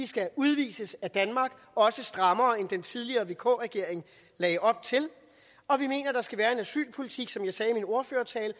skal udvises af danmark også en strammere kurs end den tidligere vk regeringen lagde op til og vi mener at der skal være en asylpolitik som jeg sagde i min ordførertale